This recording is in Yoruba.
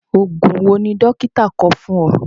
Oògùn wo ni dókítà kọ fún ọ?